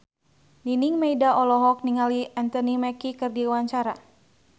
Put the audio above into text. Nining Meida olohok ningali Anthony Mackie keur diwawancara